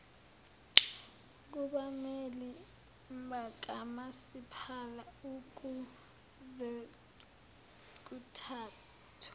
kubameli bakamasipala ukuzekuthathwe